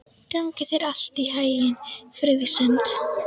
Gangi þér allt í haginn, Friðsemd.